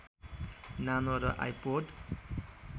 नानो र आइपोड